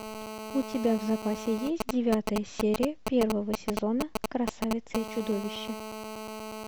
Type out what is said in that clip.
у тебя в запасе есть девятая серия первого сезона красавица и чудовище